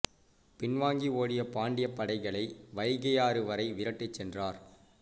பின்வாங்கி ஓடிய பாண்டியப் படைகளை வைகையாறு வரை விரட்டிச் சென்றார்